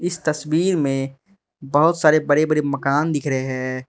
इस तस्वीर में बहुत सारे बड़े बड़े मकान दिख रहे है।